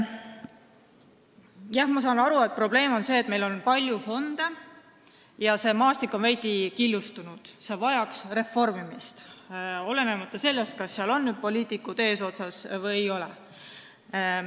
Jah, ma saan aru, et probleem on see, et meil on palju fonde ja see maastik on veidi killustunud, see vajaks reformimist, olenemata sellest, kas seal on poliitikud eesotsas või ei ole.